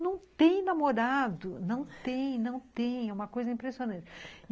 não tem namorado, não tem, não tem, é uma coisa impressionante.